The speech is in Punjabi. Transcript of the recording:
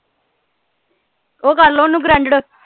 ਉਹ ਕਰ ਲਾਓ ਓਹਨੂੰ granded